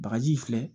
Bagaji filɛ